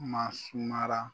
Maa sumara.